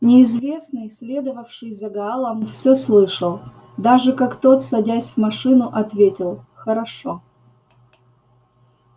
неизвестный следовавший за гаалом все слышал даже как тот садясь в машину ответил хорошо